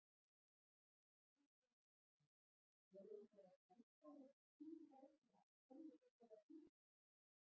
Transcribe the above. Kristinn Hrafnsson: Eru einhverjar haldbærar skýringar á því af hverju þetta er að gerast?